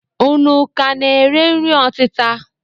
Unu ka na-ere nri ọtịta?